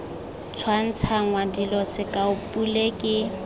tshwantshangwa dilo sekao pule ke